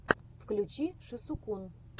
включи шисукун